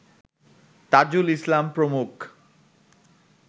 তাজুল ইসলাম প্রমুখ